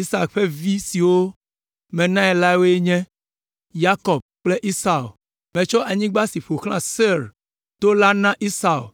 Isak ƒe vi siwo menae la woe nye, Yakob kple Esau. Metsɔ anyigba si ƒo xlã Seir to la na Esau,